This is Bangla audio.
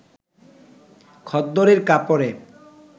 খদ্দরের কাপড়ে